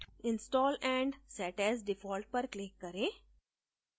install and set as default पर click करें